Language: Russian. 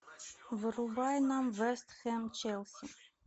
врубай нам вест хэм челси